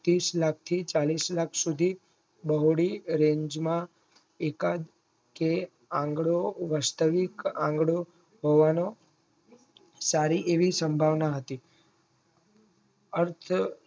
તીસ લાખથી ચાલીશ લાખ સુધી દાવરી raenj માં એકાદ કે આંગળો વાસ્તવિક આગલી હોવાનો સારી એવી સંભાવના હતી અર્થ